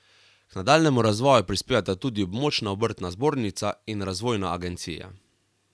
K nadaljnjemu razvoju prispevata tudi območna obrtna zbornica in razvojna agencija.